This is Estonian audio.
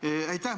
Aitäh!